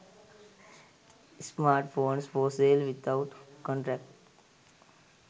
smartphones for sale without contract